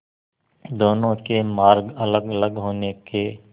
दोनों के मार्ग अलगअलग होने के